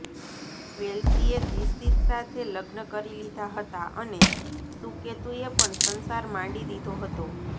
વેલ્સીએ દિશીત સાથે લગ્ન કરી લીધા હતા અને સુકેતુએ પણ સંસાર માંડી દીધો હતો